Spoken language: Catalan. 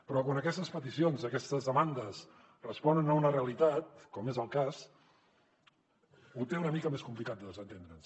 però quan aquestes peticions aquestes demandes responen a una realitat com és el cas ho té una mica més complicat de desentendre se’n